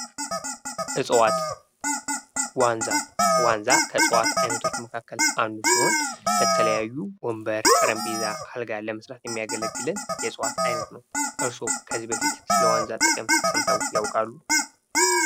እፅዋት ዋንዛ ዋንዛ ከእጽዋት አይነቶች ውስጥ አንዱ ሲሆን ለተለያዩ ወንበር ጠረጴዛ አልጋ ለመስራት የሚያገለግለን የእጽዋት አይነት ነው። እርሶ ከዚህ በፊት ለዋንዛ ጥቅም ሰምተው ያውቃሉ?